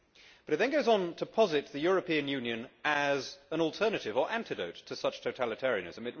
But it then goes on to posit the European Union as an alternative or antidote to such totalitarianism.